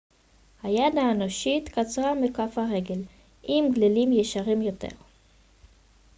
היד האנושית קצרה מכף הרגל עם גלילים ישרים יותר